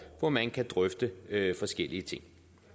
hvor man kan drøfte forskellige ting